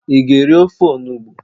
ị ga-eri ofe onugbu?